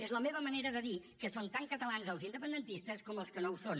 és la meva manera de dir que són tan catalans els independentistes com els que no ho són